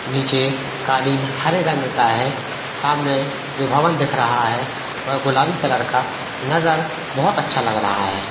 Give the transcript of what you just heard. निचे कालीन हरे रंग का है सामने जो भवन दिख रहा है वह गुलाबी कलर का नज़र बहोत अच्छा लग रहा है।